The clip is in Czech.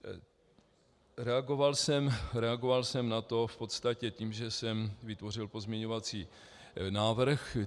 Reagoval jsem na to v podstatě tím, že jsem vytvořil pozměňovací návrh.